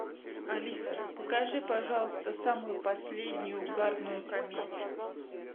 алиса покажи пожалуйста самую последнюю угарную комедию